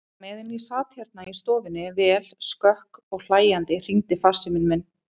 Á meðan ég sat hérna í stofunni, vel skökk og hlæjandi, hringdi farsíminn minn.